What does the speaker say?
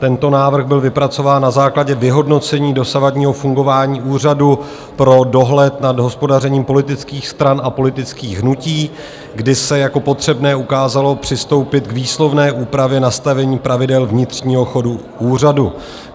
Tento návrh byl vypracován na základě vyhodnocení dosavadního fungování Úřadu pro dohled nad hospodařením politických stran a politických hnutí, kdy se jako potřebné ukázalo přistoupit k výslovné úpravě nastavení pravidel vnitřního chodu úřadu.